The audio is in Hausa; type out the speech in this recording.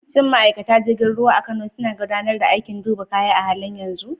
Shin ma’aikatan jirgin ruwa a Kano suna gudanar da aikin duba kaya a halin yanzu?